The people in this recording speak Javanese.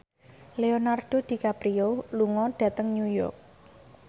Leonardo DiCaprio lunga dhateng New York